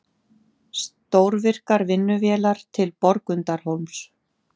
Stórvirkar vinnuvélar til Borgundarhólms